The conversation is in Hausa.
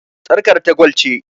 Sarƙar ta gwal ce.